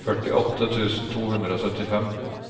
førtiåtte tusen to hundre og syttifem